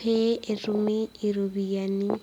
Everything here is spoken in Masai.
pee etumi iropiyiani.